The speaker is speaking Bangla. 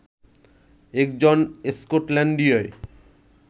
একজন স্কটল্যান্ডীয়